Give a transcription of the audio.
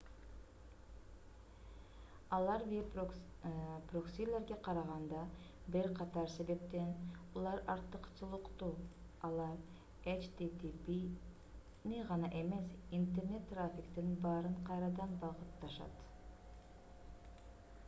алар веб проксилерге караганда бир катар себептен улам артыкчылыктуу: алар http’ни гана эмес интернет трафиктин баарын кайрадан багытташат